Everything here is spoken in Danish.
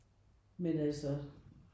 Men altså